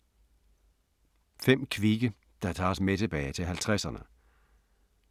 5 kvikke der tager os tilbage til 50’erne